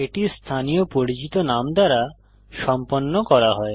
এটি স্থানীয় পরিচিত নাম দ্বারা সম্পন্ন করা হয়